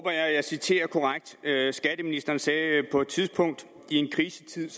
at jeg citerer korrekt skatteministeren sagde på et tidspunkt i en krisetid